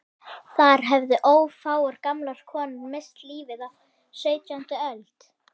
Þar höfðu ófáar gamlar konur misst lífið á sautjándu öld.